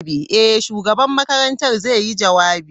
Eh, shugaban makarantar zai yi jawabi.